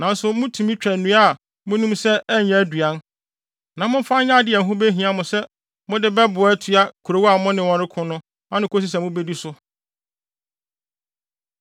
Nanso mutumi twa nnua a munim sɛ ɛnyɛ aduan; na momfa nyɛ ade a ɛho behia mo sɛ mode bɛboa atua kurow a mo ne wɔn reko no ano akosi sɛ mubedi so.